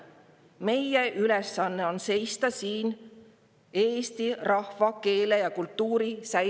Meie ülesanne on seista siin eesti rahvuse, keele ja kultuuri säilimise eest.